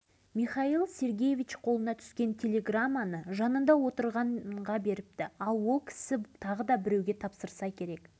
бұдан кейін жылдың желтоқсанында мамыр ауданының сайлаушылары халық депутаттарының екінші съезіне екібастұз сайлау округінен қатысып отырған